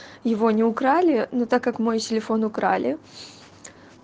его не украли но так как мой телефон украли